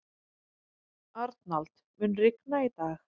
Arnald, mun rigna í dag?